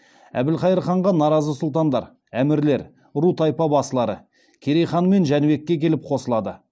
әбілхайыр ханға наразы сұлтандар әмірлер ру тайпа басылары керей хан мен жәнібекке келіп қосылады